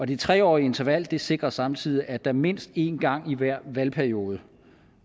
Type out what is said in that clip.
det tre årige interval sikrer samtidig at der mindst en gang i hver valgperiode